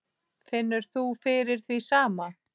Finnur þú fyrir því sama?